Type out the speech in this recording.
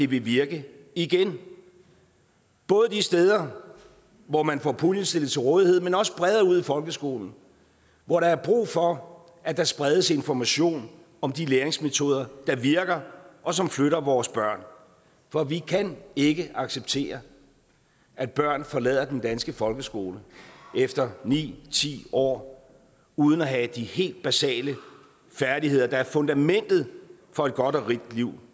vil virke igen både de steder hvor man får puljen stillet til rådighed men også bredere ud i folkeskolen hvor der er brug for at der spredes information om de læringsmetoder der virker og som flytter vores børn for vi kan ikke acceptere at børn forlader den danske folkeskole efter ni eller ti år uden at have de helt basale færdigheder der er fundamentet for et godt og rigt liv